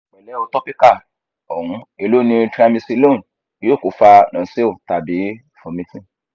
pẹlẹ o topical ohun elo ti triamcilone yoo ko fa nausea tabi vomiting